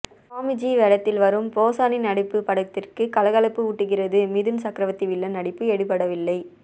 ஸ்வாமிஜி வேடத்தில் வரும் போசானி நடிப்பு படத்திற்கு கலகலப்பு ஊட்டுகிறது மிதுன் சக்ரவர்த்தி வில்லன் நடிப்பு எடுபடவில்லை